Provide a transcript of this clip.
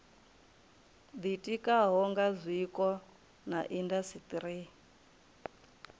ditikaho nga zwiko na indasiteri